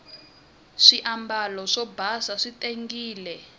swiambalo swo basa swi tengile